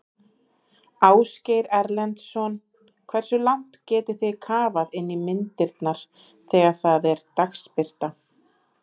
Ásgeir Erlendsson: Hversu langt getið þið kafað inn í myndirnar þegar það er dagsbirta?